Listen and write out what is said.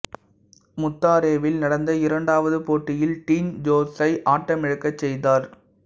முத்தாரேவில் நடந்த இரண்டாவது போட்டியில் டீன் ஜோன்ஸை ஆட்டமிழக்கச் செய்தார்